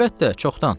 Əlbəttə, çoxdan.